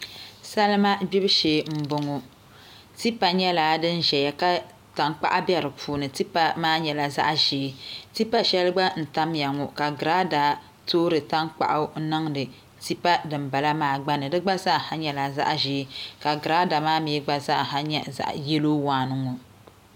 Salima gbibu shee n boŋo tipa nyɛla din ʒɛya ka tankpaɣu bɛ di puuni tipa maa nyɛla zaɣ ʒiɛ tipa shɛli gba n tamya ŋo ka girada toori tankpaɣu niŋdi tipa dinbala maa gba ni di gba zaaha nyɛla zaɣ ʒiɛ ka girada maa mii gba zaa nyɛ yɛlo waan n ŋo